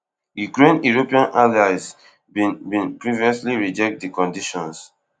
ukraine european allies bin bin previously reject di conditions